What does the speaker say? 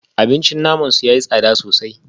Abincin naman su yayi tsada sosai